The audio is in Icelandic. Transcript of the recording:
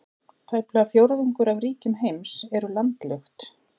Tæplega fjórðungur af ríkjum heims eru landlukt.